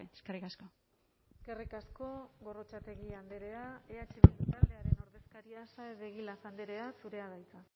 gabe eskerrik asko eskerrik asko gorrotxategi andrea eh bildu taldearen ordezkaria saez de egilaz andrea zurea da hitza